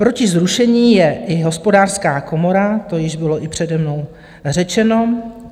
Proti zrušení je i Hospodářská komora, to již bylo i přede mnou řečeno.